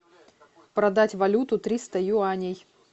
продать валюту триста юаней